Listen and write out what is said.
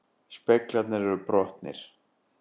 Speglarnir eru brotnir